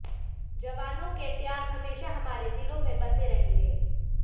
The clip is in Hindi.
जवानों के त्याग हमेशा हमारे दिलों में बसे रहेंगे